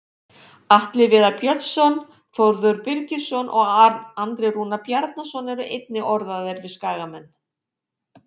Atli Viðar Björnsson, Þórður Birgisson og Andri Rúnar Bjarnason eru einnig orðaðir við Skagamenn.